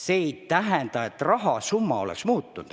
See ei tähenda, et rahasumma on muutunud.